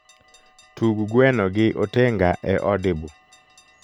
tug gweno gi otenga e audible